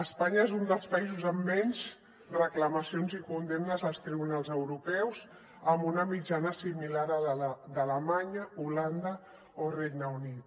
espanya és un dels països amb menys reclamacions i condemnes als tribunals europeus amb una mitjana similar a la d’alemanya holanda o el regne unit